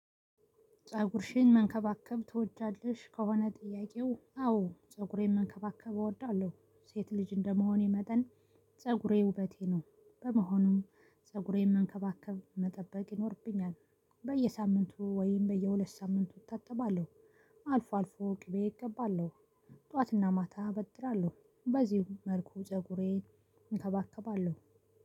ፀጉርሽን መንከባከብ ትወጃለሽ? ከሆነ ጥያቄው አዎ ፀጉሬን መንከባከብ እወዳለሁ። ሴት ልጅ እንደመሆኔ መጠን ፀጉሬ ውበቴ ነው። በመሆኑም ፀጉሬን መንከባከብ መጠበቅ ይኖርብኛል። በየሳምንቱ ወይም በየሁለት ሳምንቱ እታጥባለሁ። አልፎ አልፎ ቅቤ እቀባለሁ። ጠዋትና ማታ አበጥራለሁ በዚሁ መልኩ ፀጉሬን እከባከባለሁ።